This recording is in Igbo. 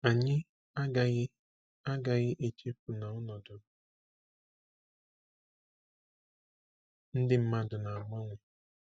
Anyị agaghị agaghị echefu na ọnọdụ ndị mmadụ na-agbanwe.